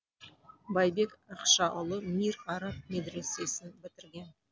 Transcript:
байбек ақшаұлы мир араб медресесін бітірген